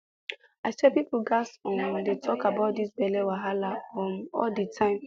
i swear people gats um dey talk about this belle wahala um all the time